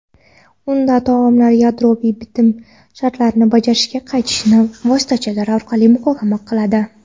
unda tomonlar yadroviy bitim shartlarini bajarishga qaytishni vositachilar orqali muhokama qiladi.